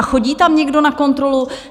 A chodí tam někdo na kontrolu?